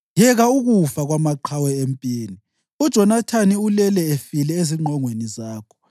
Yeka ukufa kwamaqhawe empini! UJonathani ulele efile ezingqongweni zakho.